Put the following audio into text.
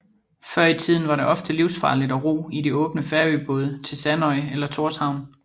Før i tiden var det ofte livsfarligt at ro i de åbne Færøbåde til Sandoy eller Tórshavn